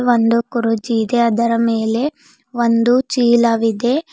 ಒಂದು ಗುರೂಜಿ ಇದೆ ಅದರ ಮೇಲೆ ಒಂದು ಚೀಲವಿದೆ.